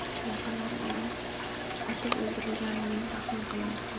Yaqinlari uning otib o‘ldirilganini taxmin qilmoqda .